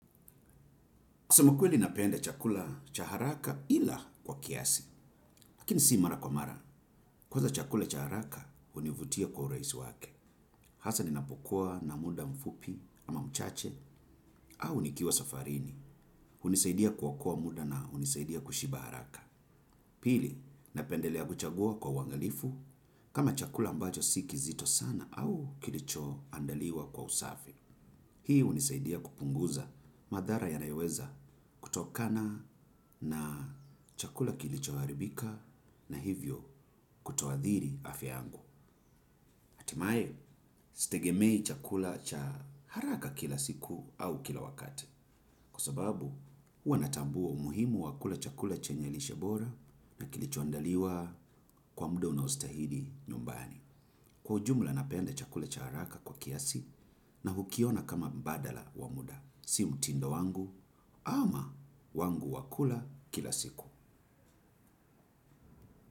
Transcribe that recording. Kusema ukweli napende chakula cha haraka ila kwa kiasi. Lakini si mara kwa mara. Kwanza chakula cha haraka hunivutia kwa urahisi wake. Hasa ninapukua na muda mfupi ama mchache au nikiwa safarini. Hunisaidia kuokoa muda na hunisaidia kushiba haraka. Pili, napendelea kuchagua kwa uangalifu. Kama chakula ambacho si kizito sana au kilicho andaliwa kwa usafi. Hii hunisaidia kupunguza madhara yanayoweza kutokana na chakula kilichoharibika na hivyo kutoadhiri afya yangu. Hatimaye sitegemei chakula cha haraka kila siku au kila wakati. Kwa sababu huwa natambua umuhimu wa kula chakula chenye lishe bora na kilicho andaliwa kwa muda unaostahili nyumbani. Kwa ujumla napenda chakula cha haraka kwa kiasi na hukiona kama mbadala wa muda. Si mtindo wangu ama wangu wa kula kula siku.